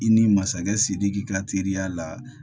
I ni masakɛ sidiki ka teriya la